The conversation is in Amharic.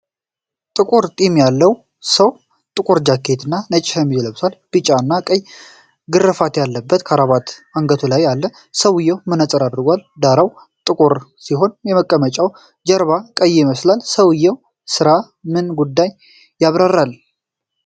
ጥቁር ጢም ያለው ሰው ጥቁር ጃኬት እና ነጭ ሸሚዝ ለብሷል። ቢጫ እና ቀይ ግርፋት ያለበት ክራባት አንገቱ ላይ አለ። ሰውዬው መነጽር አድርጓል። ዳራው ጥቁር ሲሆን የመቀመጫው ጀርባ ቀይ ይመስላል። ሰውዬው ስለ ምን ጉዳይ ያብራራል?